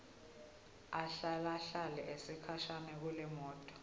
ahlalahlale sikhashana kulemoto